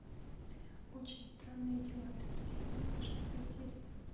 очень странные дела третий сезон шестая серия